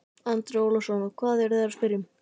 Andri Ólafsson: Og hvað eru þeir að spyrja um?